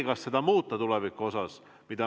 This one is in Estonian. Kas seda muuta tulevikus?